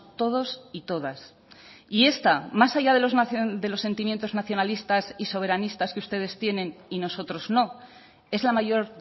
todos y todas y esta más allá de los sentimientos nacionalistas y soberanistas que ustedes tienen y nosotros no es la mayor